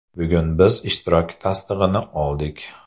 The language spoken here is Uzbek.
Bugun biz ishtirok tasdig‘ini oldik.